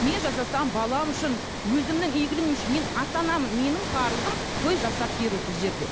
мен жасасам балам үшін өзімнің игілігім үшін мен ата анамын менің парызым той жасап беру бұл жерде